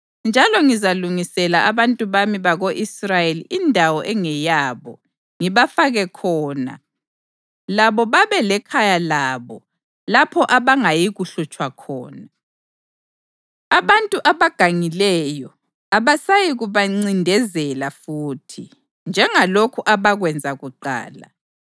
Njalo ngizalungisela abantu bami bako-Israyeli indawo engeyabo ngibafake khona labo babe lekhaya labo lapho abangayikuhlutshwa khona. Abantu abagangileyo abasayikubancindezela futhi, njengalokhu abakwenza kuqala